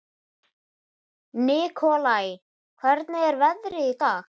Nikolai, hvernig er veðrið í dag?